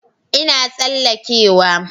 Ina tsalleke wa